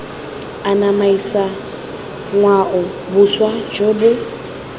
anamisa ngwao boswa jo bo